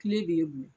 Kile b'e bolo